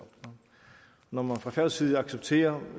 når man fra færøsk side accepterer